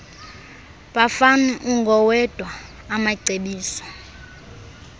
bafane ungowedwa amacebiso